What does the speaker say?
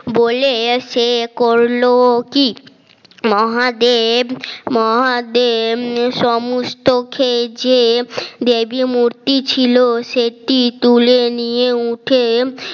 বলে এসে করল কি মহাদেব মহাদেব সমস্ত খেয়ে যে দেবী মূর্তি ছিল সেটি তুলে নিয়ে উঠে